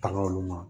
Bagan olu ma